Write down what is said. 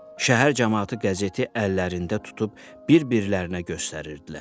Şəhər camaatı qəzeti əllərində tutub bir-birlərinə göstərirdilər.